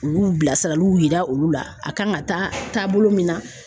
U y'u bilasiraliw yira olu la, a kan ka taabolo min na .